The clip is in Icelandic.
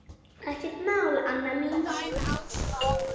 Ekkert mál, Anna mín.